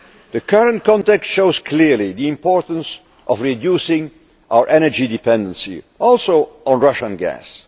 The current context shows clearly the importance of reducing our energy dependency on, notably, Russian